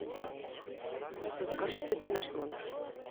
алиса закажи цветы в наш номер